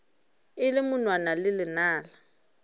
e le monwana le lenala